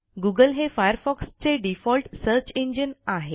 Google हे Firefox चे default search engine आहे